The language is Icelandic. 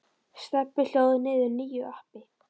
Stebbi hlóð niður nýju appi.